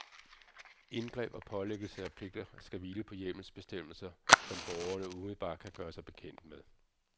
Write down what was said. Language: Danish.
Indgreb og pålæggelse af pligter skal hvile på hjemmelsbestemmelser, som borgerne umiddelbart kan gøre sig bekendt med.